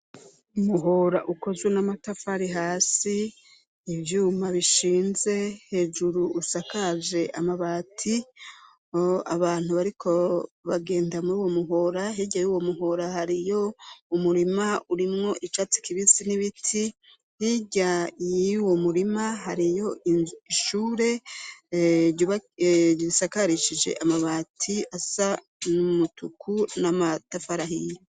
Muhora ukozwe n'amatafari hasi ivyuma bishinze hejuru usakaje amabati abantu bariko bagenda muri uwo muhora hirya y'uwo muhora hariyo umurima urimwo icatsi kibisi n'ibiti hirya yiwo murima hariyo ishure risakarishije amabati asa n'umutuku n'amatafarahila.